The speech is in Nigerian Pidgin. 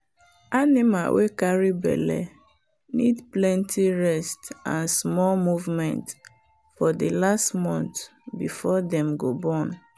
animal wey carry belle need plenty rest and small movement for the last month before dem go born.